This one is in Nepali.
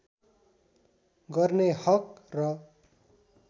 गर्ने हक र